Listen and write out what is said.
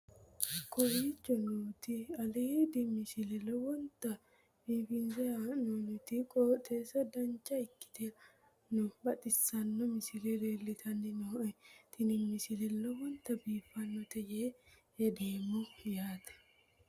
kowicho nooti aliidi misile lowonta biifinse haa'noonniti qooxeessano dancha ikkite la'annohano baxissanno misile leeltanni nooe ini misile lowonta biifffinnote yee hedeemmo yaate